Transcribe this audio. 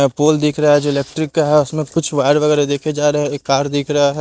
एै pole दिख रहा है जो इलेक्ट्रिक का है उसमें कुछ वायर वगैरह देखे जा रहे हैं ये कार दिख रहा है।